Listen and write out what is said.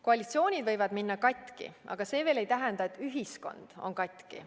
Koalitsioonid võivad minna katki, aga see veel ei tähenda, et ühiskond on katki.